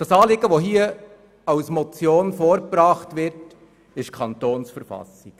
Das hier als Motion vorgebrachte Anliegen betrifft die Kantonsverfassung.